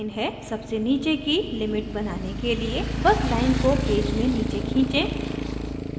सबसे नीचे की लिमिट बनाने के लिए बस लाइन को पेज में नीचे खीचें